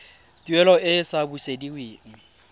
tuelo e e sa busediweng